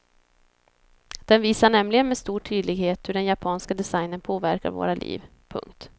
Den visar nämligen med stor tydlighet hur den japanska designen påverkar våra liv. punkt